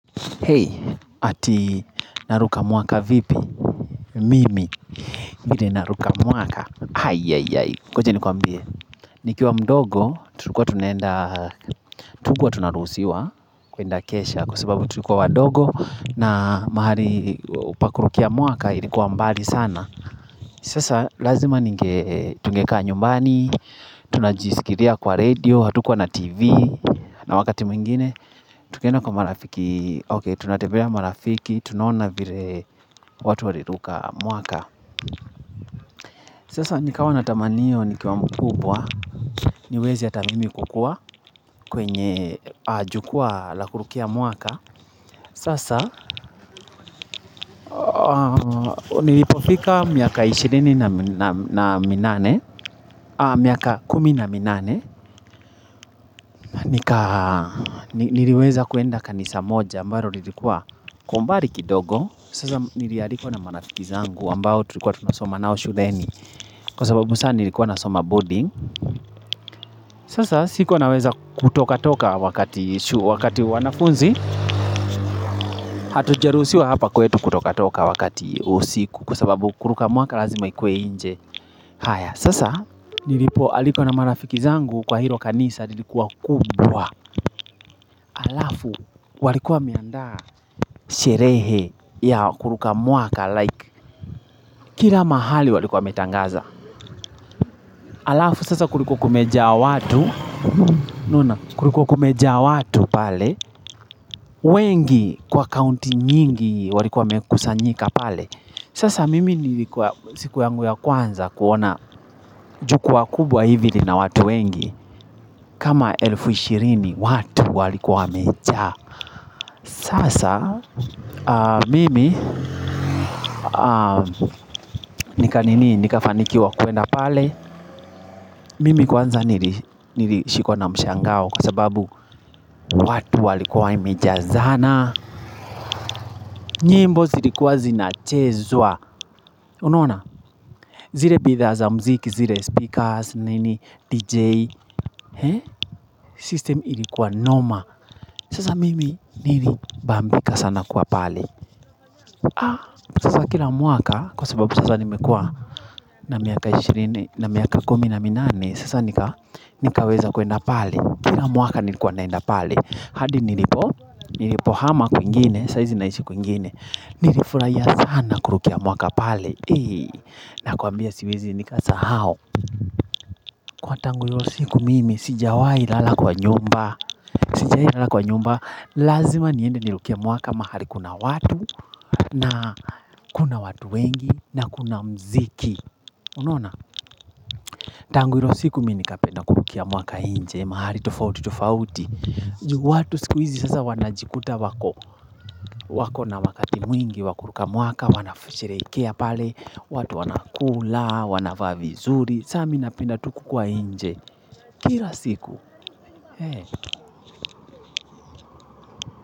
Hey, ati naruka mwaka vipi? Mimi, mbili naruka mwaka. Hai, yai, yai. Ngoja nikuambie. Nikiwa mdogo, tulikuwa tunaenda, hatukuwa tunaruhusiwa kuenda kesha. Kwa sababu tulikuwa wadogo na mahali pa kurukia mwaka ilikuwa mbali sana. Sasa lazima ninge, tungekaa nyumbani, tunajisikizia kwa radio, hatukuwa na tv, na wakati mwingine. Tukienda kwa marafiki, okay tunatembea marafiki, tunaona vile watu waliruka mwaka Sasa nikawa na tamani hiyo nikiwa mkubwa, niweze hata mimi kukua kwenye jukwaa la kurukia mwaka Sasa nilipofika miaka ishirini na minane, miaka kumi na minane Niliweza kuenda kanisa moja ambalo lilikuwa kwa umbali kidogo Sasa nili alikwa na marafiki zangu ambao tulikuwa tunasoma nao shuleni Kwa sababu sasa nilikuwa na soma boarding Sasa sikuwa naweza kutoka toka wakati wanafunzi Hatujaruhusiwa hapa kwetu kutoka toka wakati wa usiku Kwa sababu kuruka mwaka lazima ikue nje haya sasa nilipo alikwa na marafiki zangu Kwa hilo kanisa lilikuwa kubwa Alafu walikuwa wameandaa sherehe ya kuruka mwaka Kila mahali walikuwa wametangaza Alafu sasa kulikuwa kumejaa watu unaona kulikuwa kumejaa watu pale wengi kwa kaunti nyingi walikuwa wamekusanyika pale Sasa mimi nilikuwa siku yangu ya kwanza kuona jukwaa kubwa hivi lina watu wengi kama elfu ishirini watu walikuwa wamejaa Sasa mimi nika nini nikafanikiwa kuenda pale Mimi kwanza nilishikwa na mshangao Kwa sababu watu walikuwa imejazana nyimbo zilikuwa zinachezwa Unaona? Zile bidhaa za mziki, zile speakers, nini DJ System ilikuwa noma Sasa mimi nilibambika sana kuwa pale Kwa kila mwaka, kwa sababu sasa nimekuwa na miaka 20, na miaka 10 na minane Sasa nikaweza kuenda pali Kila mwaka nilikuwa naenda pale hadi nilipo, nilipo hama kwingine saa hizi naishi kuingine Nilifurahia sana kurukia mwaka pale na kuambia siwezi nikasahau Kwa tangu hiyo siku mimi sijawahi lala kwa nyumba Sijawahi lala kwa nyumba Lazima niende nirukie mwaka mahali kuna watu na kuna watu wengi na kuna mziki Unaona? Tangu hiyo siku mimi nikapenda kurukia mwaka nje mahali tofauti tofauti juu watu siku hizi sasa wanajikuta wako wako na wakati mwingi wakuruka mwaka, wanavyosherehekea pale, watu wanakula, wanavaa vizuri, sasa mimi napenda tu kuwa nje. Kila siku.